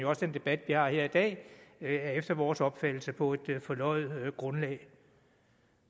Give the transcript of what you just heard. også den debat vi har her i dag er efter vores opfattelse på et forløjet grundlag